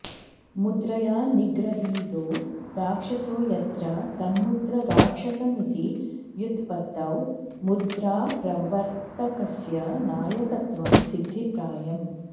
मुद्रया निगृहीतो राक्षसो यत्र तन्मुद्राराक्षसमिति व्युत्पत्तौ मुद्राप्रवर्त्तकस्य नायकत्वं सिध्दिप्रायम्